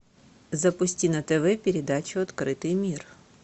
запусти на тв передачу открытый мир